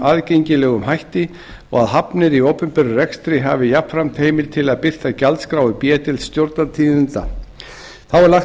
aðgengilegum hætti og að hafnir í opinberum rekstri hafi jafnframt heimild til að birta gjaldskrár í b deild stjórnartíðinda þá er lagt